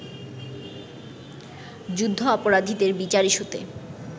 যুদ্ধাপরাধীদের বিচার ইস্যুতে